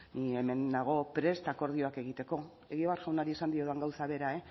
bueno ni hemen nago prest akordioak egiteko egibar jaunari esan diodan gauza bera